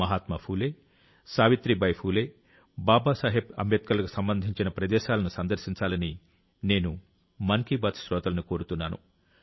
మహాత్మా ఫూలే సావిత్రీబాయి ఫూలే బాబాసాహెబ్ అంబేద్కర్లకు సంబంధించిన ప్రదేశాలను సందర్శించాలని నేను మన్ కీ బాత్ శ్రోతలను కోరుతున్నాను